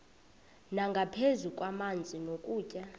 nangaphezu kwamanzi nokutya